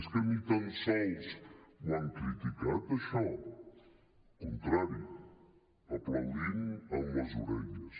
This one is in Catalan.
és que ni tan sols ho han criticat això al contrari aplaudint amb les orelles